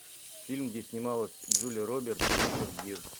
фильм где снималась джулия робертс и ричард гир